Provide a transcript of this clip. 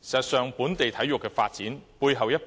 事實上，本地體育的發展，有賴背後一群